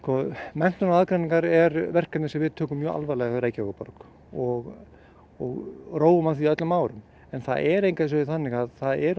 menntun án aðgreiningar er verkefni sem við tökum mjög alvarlega hjá Reykjavíkurborg og og róum að því öllum árum en það er engu að síður þannig að það eru